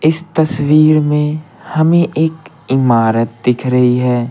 इस तस्वीर में हमें एक इमारत दिख रही है।